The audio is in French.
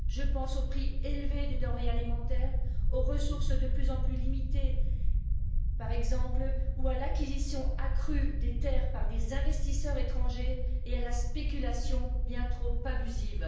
Je pense aux prix élevés des denrées alimentaires, aux ressources de plus en plus limitées par exemple, ou à l'acquisition accrue de terres par des investisseurs étrangers ainsi qu'à la spéculation bien trop abusive.